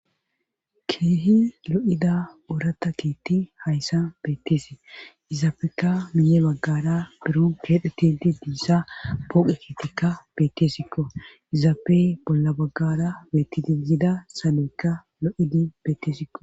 Keehi lo'ida oorata kiitti hayssa betteese izaafeka miye baggara biro geedhetidi diissa pooqe kiittikka bettesikko izaafey bolla baggara bettidi yiida saloykka lo7idi bettesikko.